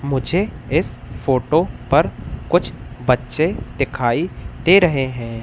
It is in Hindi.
मुझे इस फोटो पर कुछ बच्चे दिखाई दे रहें हैं।